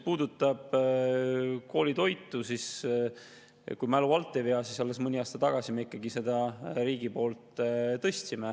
Nüüd, kui mu mälu alt ei vea, siis alles mõni aasta tagasi riik koolitoidu ikkagi tõstis.